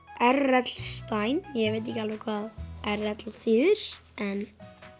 r l stein ég veit ekki alveg hvað r l þýðir en